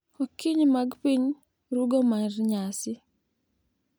Okinyi ma piny rugo mar nyasi.